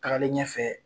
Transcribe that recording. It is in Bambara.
Tagalen ɲɛfɛ